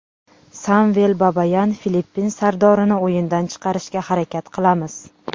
Samvel Babayan: Filippin sardorini o‘yindan chiqarishga harakat qilamiz.